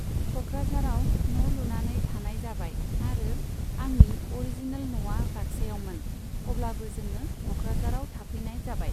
क'क्राझाराव न' लुनानै थानाय जाबाय आरो आंनि अरिजिनेल न'आ बाक्सायावमोन, अब्लाबो जोङो क'क्राझाराव थाफैनाय जाबाय।